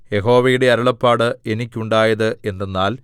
യഹോവയുടെ അരുളപ്പാട് എനിക്കുണ്ടായത് എന്തെന്നാൽ